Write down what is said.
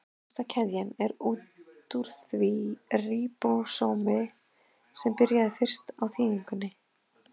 Lengsta keðjan er út úr því ríbósómi sem byrjaði fyrst á þýðingunni.